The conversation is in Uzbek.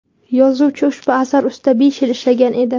Yozuvchi ushbu asar ustida besh yil ishlagan edi.